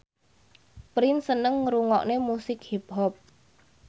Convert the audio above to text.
Prince seneng ngrungokne musik hip hop